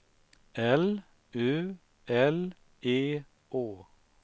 L U L E Å